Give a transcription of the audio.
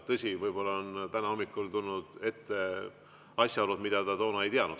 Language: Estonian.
Tõsi, võib-olla on täna hommikul ette tulnud asjaolusid, mida ta toona ei teadnud.